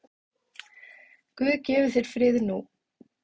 Guð gefi þér frið nú.